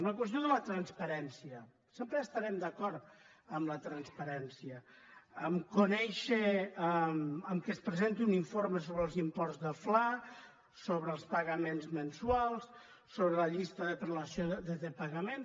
en la qüestió de la transparència sempre estarem d’acord en la transparència a conèixer que es presenti un informe sobre els imports del fla sobre els pagaments mensuals sobre la llista de prelació de pagaments